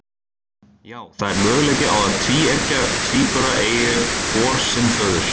Já, það er möguleiki á að tvíeggja tvíburar eigi hvor sinn föður.